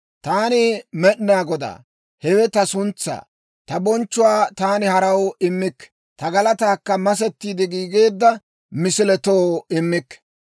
Taani Med'inaa Godaa; hewe ta suntsaa. Ta bonchchuwaa taani haraw immikke; ta galataakka masettiide giigeedda misiletoo immikke.